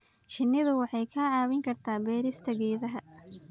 Shinnidu waxay kaa caawin kartaa beerista geedaha.